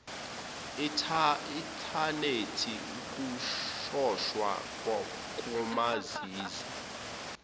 inthanethi ukutshontshwa komazizi